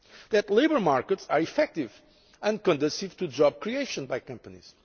needs that labour markets are effective and conducive to job creation by companies